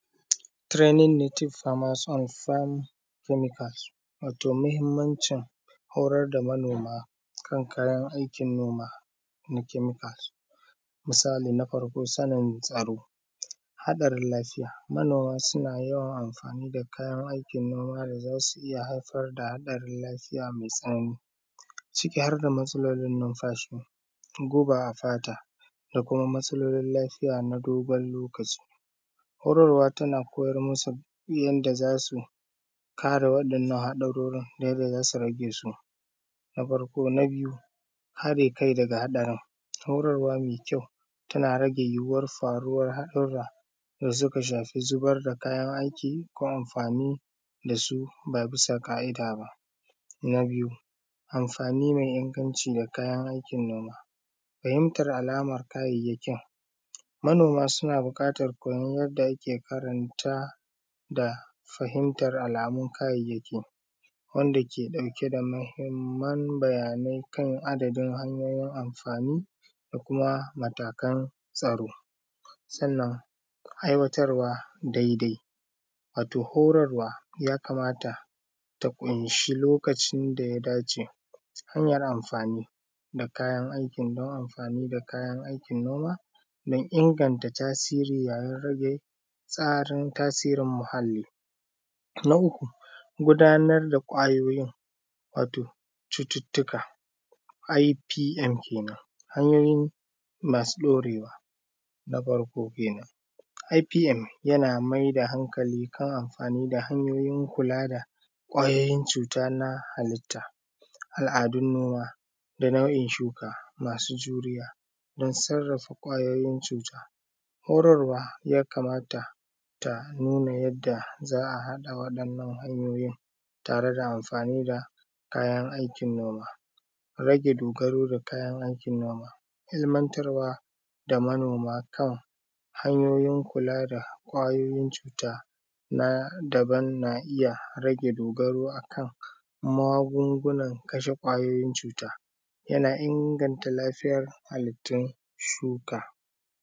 Tirenin metif farmas and fams kemikals, wato mahimmancin horar da manoma kan kayan aikin noma na kemikals. Misali Na farko sanin tsaro, haɗarin lafiya, manoma suna yawan amfani da kayan aikin noma da za su iya haifar da haɗarin lafiya mai tsanani, ciki har da matsalolin numfashi, guba a fata, da kuma matsalolin lafiya na dogon lokaci. Horarwa tana koyar musu yanda za su yi kare waɗannan haɗarorin da yanda za su rage su, na farko Na biyu ha de kai daga ha darin, horarwa me kyau tana rage yiwuwar faruwar haɗura da suka shafi zubar da kayan aiki ko amfani dasu ba bisa ka’ida ba. Na biyu amfani mai inganci da kayan aikin noma. Fahimtar alama kayayyakin, manoma suna buƙatan koyon yadda ake karanta da fahimtar alamun kayayyaki, wanda ke ɗauke da mahimman bayanai kan adadin hanyoyin amfani da kuma matakan tsaro. Sannan aiwatarwa daidai, wato horarwa ya kamata ta ƙunshi lokacin daya dace. Hanyar amfani da kayan aikin don amfani da kayan aikin noma don inganta tasiri yayin rage tsarin tasirin muhali. Na uku gudanar da ƙwayoyin wato cututtuka,( IPN) kenen hanyoyi masu ɗorewa, na farko kenen. (IPN) yana mai da hankali kan amfani da hanyoyin kula da ƙwayoyin cuta na halitta. Al’adun noma da nau’in shuka masu juriya don sarrafa ƙwayoyin cuta. Horarwa ya kamata ta nuna yadda za a haɗa wadannan hanyoyin tare da amfani da kayan aikin noma. Rage dogaro kayan aikin noma, ilmantarwa da manoma kan hanyoyin kula da ƙwayoyin cuta na daban na iya rage dogaro akan magungunan kashe ƙwayoyin cuta, yana inganta lafiyar halittun shuka.